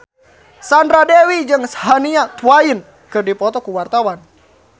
Sandra Dewi jeung Shania Twain keur dipoto ku wartawan